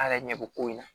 A yɛrɛ ɲɛ bo ko in na